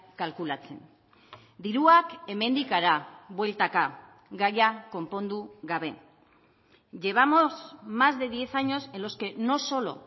kalkulatzen diruak hemendik hara bueltaka gaia konpondu gabe llevamos más de diez años en los que no solo